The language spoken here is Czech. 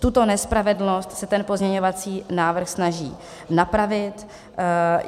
Tuto nespravedlnost se ten pozměňovací návrh snaží napravit.